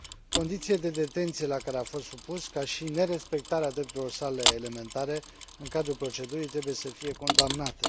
Condițiile de detenție la care a fost supus, ca și nerespectarea drepturilor sale elementare în cadrul procedurii, trebuie să fie condamnate.